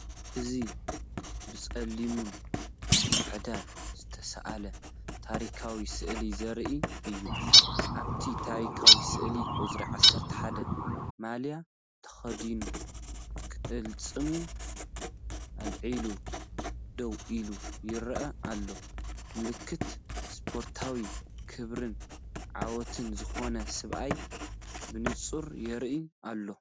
እዚ ብጸሊምን ጻዕዳን ዝተሳእለ ታሪኻዊ ስእሊ ዘርኢ እዩ። ኣብቲ ታሪኻዊ ስእሊ ቁጽሪ 11 ማልያ ተኸዲኑ ቅልጽሙ ኣልዒሉ ደው ኢሉ ይረአ ኣሎ፡ ምልክት ስፖርታዊ ክብርን ዓወትን ዝኾነ ሰብኣይ ብንጹር ይርአ ኣሎ።